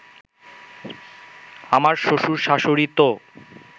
আমার শ্বশুর-শাশুড়ি তো